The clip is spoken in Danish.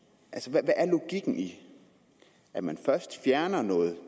hvad er logikken i at man først fjerner noget